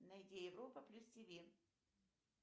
найди европа плюс тв